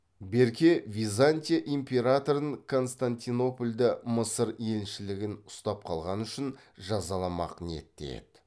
берке византия императорын константинопольда мысыр елшілігін ұстап қалғаны үшін жазаламақ ниетте еді